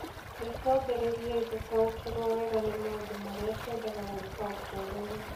Nĩ twambĩrĩirie gũtaũkĩrũo wega nĩ maũndũ marĩa twendaga gwĩka ũtũũro-inĩ.